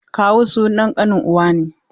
Kawu sunan ƙanin uwa ne.